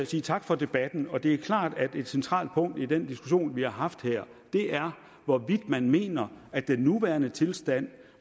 sige tak for debatten det er klart at et centralt punkt i den diskussion vi har haft her er hvorvidt man mener at den nuværende tilstand